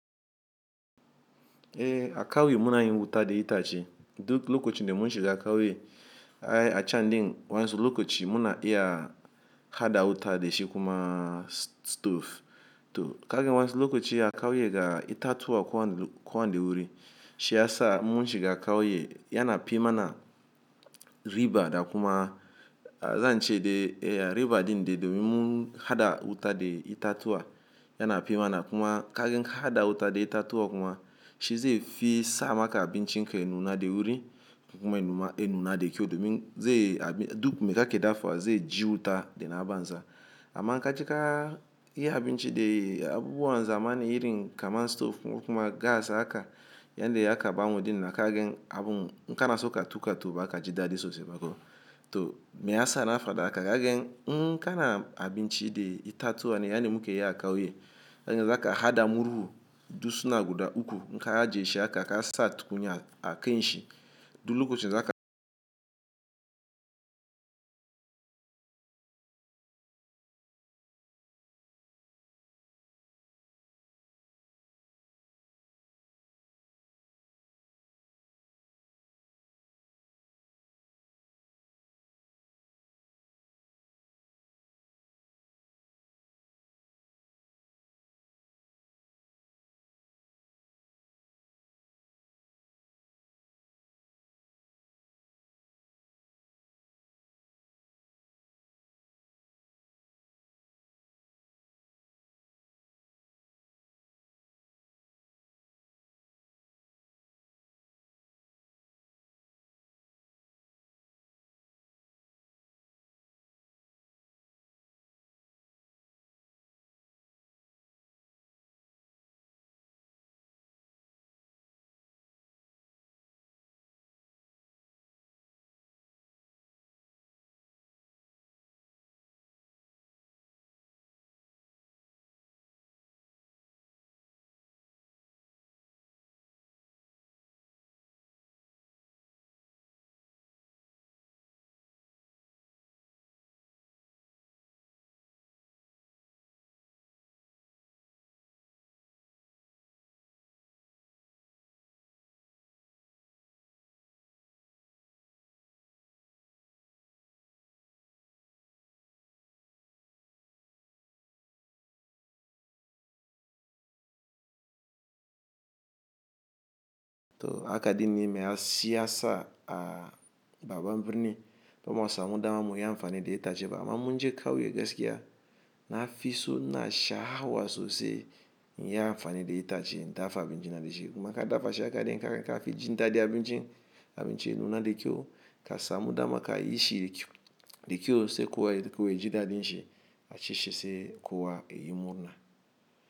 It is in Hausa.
Eh a kauye munayi wuta dai itace duk lokacin da mun shiga kauye. Ai a chan din wanzu lokaci muna iya hada wuta da shi kuma stove. To kagen wanzu lokaci a kauye ga ita tuwa kowan kowan da wuri. Shi yasa mun shiga kauye yana pi mana riba da kuma zan ce de eh riba din de domin mun hada wuta da ita tuwa yana pi mana kuma kagen ka hada wuta da ita tuwa kuma shi zai fi sa maka abincin ka ya nuna da wuri kuma ya nuna ya nuna da kyau domin zai a duk me ka ke dafuwa zai ji wuta da na banza. Amma in ka jika yi abinci de abubuwan zamanin yirin kamar stove kuma gas haka yan da ya ka banwo din na kagen abun ka na suka tuka to ba ka ji dadi sosai ba ko. To me yasa na faɗa haka kagen in kana abinci da ita tuwa ne yani mu ke yi a kauye. Kai ne za ka hada murhu dusuna guda uku in ka ajiye shi haka ka sa tukunyar a kain shi. Duk lokacin za ka. To haka din ne me ya si'a sa a baban birni domin masu amuda mamu yi amfani da ita ce ba amma munje kauye gaskiya na fi so na sha hawa sosai in yi amfani da ita ce dafa abinci na da shi. Kuma ka dafa shi haka din ka ka fi jin daɗin abincin abinci ya nuna da kyau ka samu dama ka yi shi da kyau. Da kyau sai kuwa kuwa ya ji daɗin shi a ci shi sai kuwa ya yi murna.